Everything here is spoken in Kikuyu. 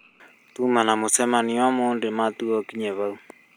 Tuma na mũcemanio ũmũthĩ matua ũkinye hau